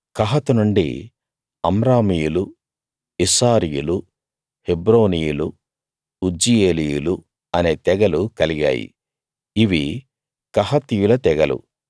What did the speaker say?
కహాతు నుండి అమ్రామీయులు ఇస్హారీయులు హెబ్రోనీయులు ఉజ్జీయేలీయులు అనే తెగలు కలిగాయి ఇవి కహాతీయుల తెగలు